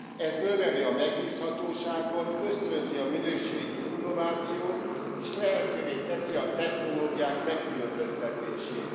Ez növeli a megbízhatóságot, ösztönzi a minőségi innovációt, és lehetővé teszi a technológiák megkülönböztetését.